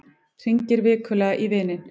Hringir vikulega í vininn